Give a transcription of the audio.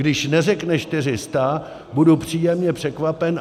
Když neřekne 400, budu příjemně překvapen.